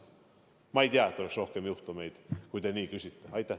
Ja ma ei tea, et oleks rohkem juhtumeid, mille kohta te küsisite.